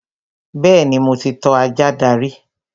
Bẹ́ẹ̀ni, mo ti tọ́ ajá dàgbà rí